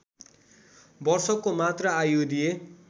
वर्षको मात्र आयु दिए